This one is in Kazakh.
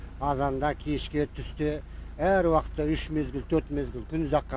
азанда кешке түсте әр уақытта үш мезгіл төрт мезгіл күн ұзаққа